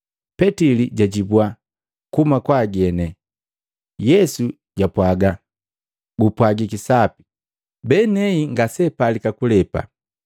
Petili jwajibwa, “Kuhuma kwa ageni.” Yesu jwapwaga, “Gupwajiki sapi, benei ngaseapalika kulepa.